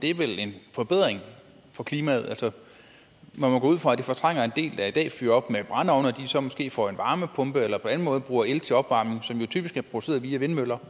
forbedring for klimaet man må gå ud fra at det fortrænger en del der i dag fyrer op med at de så måske får en varmepumpe eller på anden måde bruger el som jo typisk er produceret via vindmøller